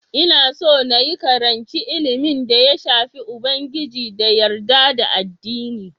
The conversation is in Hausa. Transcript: Ina so na yi karanci ilimin da ya shafi Ubangiji da yarda da addini.